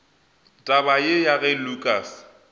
taba ye ya ge lukas